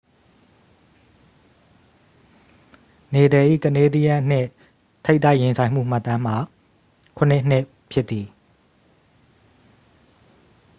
နေဒယ်၏ ကနေဒီးယန်း နှင့် ထိပ်တိုက်ရင်ဆိုင်မှုမှတ်တမ်းမှာ 7-2 ဖြစ်သည်